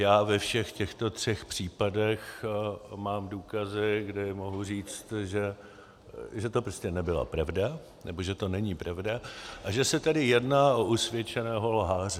Já ve všech těchto třech případech mám důkazy, kdy mohu říct, že to prostě nebyla pravda, nebo že to není pravda, a že se tedy jedná o usvědčeného lháře.